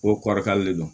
Ko kɔrɔkalen de don